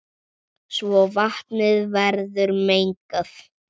svo vatnið verður mengað.